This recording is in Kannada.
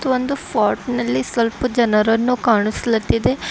ಒಂದು ಪಾಟ್ನಲ್ಲಿ ಸ್ವಲ್ಪ ಜನರನ್ನು ಕಾಣಿಸ್ಲಾತ್ತಿದೆ.